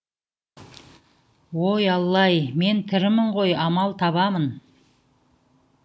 ой алла ай мен тірімін ғой амал табамын